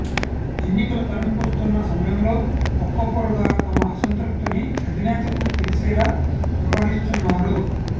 ఎన్నికలు తరుముకొస్తున్న సమయంలో ఒక్కొక్కరుగా తమ అసంతృప్తిని అధినేతకు తెలిసేలా వ్యవహరిస్తున్నారు